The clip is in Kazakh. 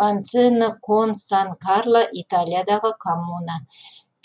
ванцоне кон сан карло италиядағы коммуна